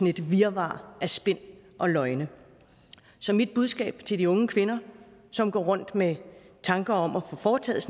et virvar af spin og løgne så mit budskab til de unge kvinder som går rundt med tanker om at få foretaget